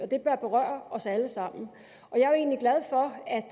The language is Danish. det bør berøre os alle sammen